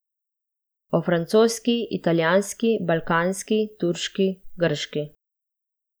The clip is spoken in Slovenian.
O francoski, italijanski, balkanski, turški, grški ...